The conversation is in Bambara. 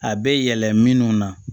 A bɛ yɛlɛ minnu na